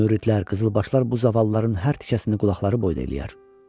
Müridlər, qızılbaşlar bu zavallıların hər tikəsini qulaqları boyda eləyər.